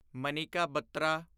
Manika Batra